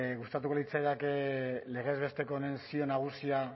gustatuko litzaidake legez besteko honen zio nagusia